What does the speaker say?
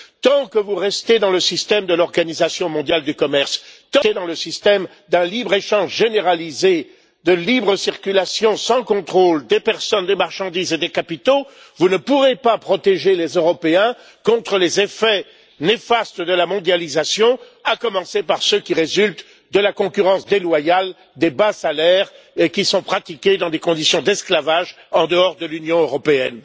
Tant que vous resterez dans le système de l'Organisation mondiale du commerce, dans le système d'un libre échange généralisé de libre circulation sans contrôle des personnes, des marchandises et des capitaux, vous ne pourrez pas protéger les Européens contre les effets néfastes de la mondialisation, à commencer par ceux qui résultent de la concurrence déloyale des bas salaires et des emplois pratiqués dans des conditions d'esclavage en dehors de l'Union européenne.